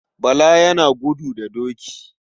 Bala yana gudu da doki.